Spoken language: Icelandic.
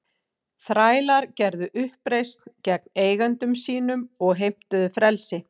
Þrælar gerðu uppreisn gegn eigendum sínum og heimtuðu frelsi.